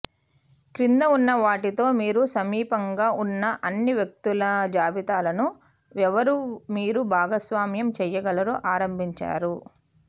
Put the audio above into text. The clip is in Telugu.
క్రింద ఉన్న వాటితో మీరు సమీపంగా ఉన్న అన్ని వ్యక్తుల జాబితాను ఎవరు మీరు భాగస్వామ్యం చేయగలరో ఆరంభించారు